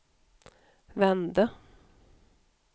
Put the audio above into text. vände